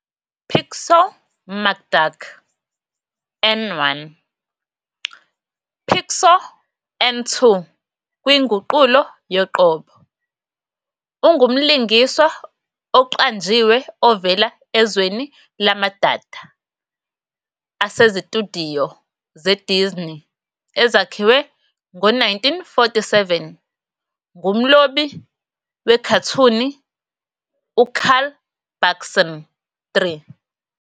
Picsou McDuck n 1, Picsou n 2 kwinguqulo yoqobo, ungumlingiswa oqanjiwe ovela ezweni lamadada asezitudiyo zeDisney ezakhiwe ngo-1947 ngumlobi-wekhathuni uCarl Barksn 3.